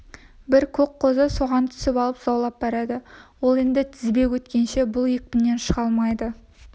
бір көк қозы соған түсіп алып заулап барады ол енді тізбек өткенше бұл екпіннен шыға алмайды